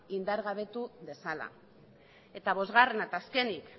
indargabetu dezala eta bosgarrena eta azkenik